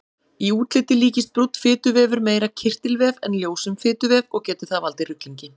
Í útliti líkist brúnn fituvefur meira kirtilvef en ljósum fituvef og getur það valdið ruglingi.